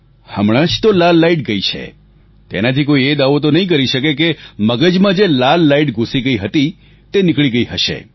હમણાં જ તો લાલ લાઈટ ગઈ છે તેનાથી કોઈ એ દાવો તો નહીં કરી શકે કે મગજમાં જે લાલ લાઈટ ઘૂસી ગઈ છે તે નીકળી ગઈ હશે